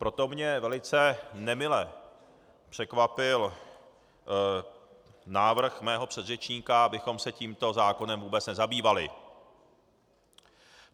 Proto mě velice nemile překvapil návrh mého předřečníka, abychom se tímto zákonem vůbec nezabývali.